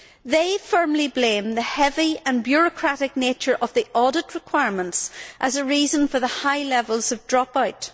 They firmly blame the heavy and bureaucratic nature of the audit requirements as a reason for the high levels of drop out.